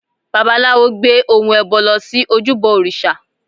Babaláwo gbé ohun ẹbọ lọ sí ojúbọ òrìṣà